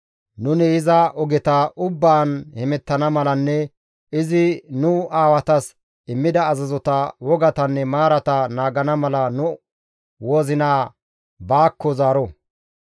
Nuni iza ogeta ubbaan hemettana malanne izi nu aawatas immida azazota, wogatanne maarata naagana mala nu wozinaa baakko zaaro.